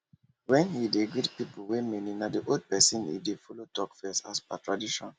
when he dey greet people wey many na the old pesin he dey follow talk first as per tradition